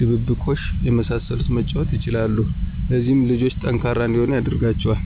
ድብብቆሽ የመሳሰሉትን መጫወት ይችላሉ። ለዚህም ልጆቹ ጠንካራ እንዲሆኑ ያደርጋቸዋል።